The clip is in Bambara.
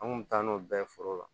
An kun bɛ taa n'o bɛɛ ye foro la